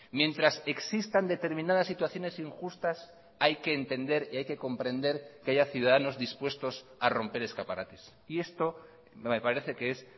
mientras existan determinadas situaciones injustas hay que entender y hay que comprender que haya ciudadanos dispuestos a romper escaparates y esto me parece que es